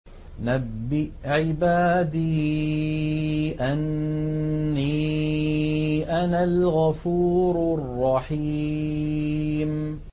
۞ نَبِّئْ عِبَادِي أَنِّي أَنَا الْغَفُورُ الرَّحِيمُ